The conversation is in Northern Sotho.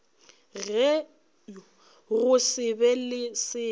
go se be le selo